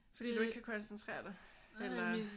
Fordi du ikke kan koncentrere dig? Eller?